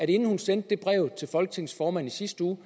inden hun sendte brevet til folketingets formand i sidste uge